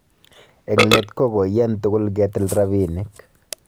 Eng let ko koiyan tugul ketil rabinik